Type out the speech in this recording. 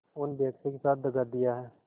उन बेकसों के साथ दगा दिया है